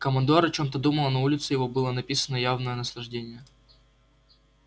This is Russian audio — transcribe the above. командор о чём-то думал и на улице его было написано явное наслаждение